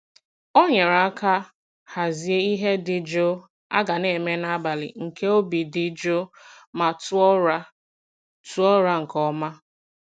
O nyere aka hazie ihe dị jụụ a ga na-eme n'abalị nke obi dị jụụ ma tụọ ụra tụọ ụra nke ọma.